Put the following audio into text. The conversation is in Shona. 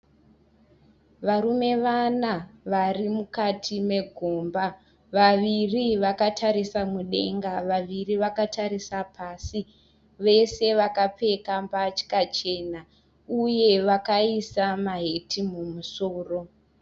Varume vana varimukati megomba. Vaviri vakatarisa mudenga, vaviri vakatarisa pasi vese vakapfeka mbatya chena uye vakaisa maheti mumusoro.